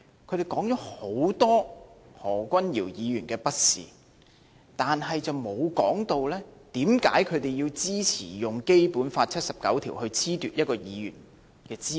他們說了很多何君堯議員的不是，但卻沒有說為甚麼他們支持用《基本法》第七十九條來褫奪一位議員的資格。